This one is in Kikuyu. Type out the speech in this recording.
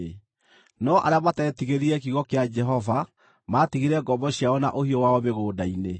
No arĩa mateetigĩrire kiugo kĩa Jehova maatigire ngombo ciao na ũhiũ wao mĩgũnda-inĩ.